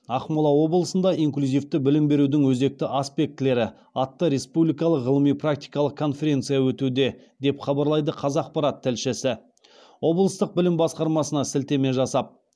ақмола облысында инклюзивті білім берудің өзекті аспектілері атты республикалық ғылыми практикалық конференция өтуде деп хабарлайды қазақпарат тілшісі облыстық білім басқармасына сілтеме жасап